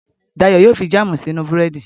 Dayọ̀ yóò fi jáàmù si sínú búrẹ́dì